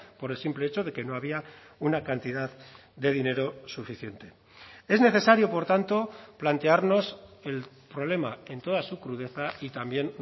por el simple hecho de que no había una cantidad de dinero suficiente es necesario por tanto plantearnos el problema en toda su crudeza y también